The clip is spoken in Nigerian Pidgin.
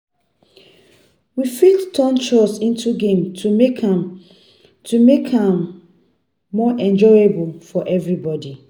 We fit turn chores into games to make am to make am more enjoyable for everybody.